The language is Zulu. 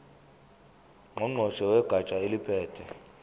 ngqongqoshe wegatsha eliphethe